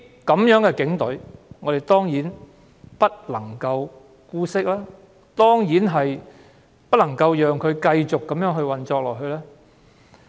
這樣的警隊當然不能姑息，當然不能讓它繼續這樣運作下去。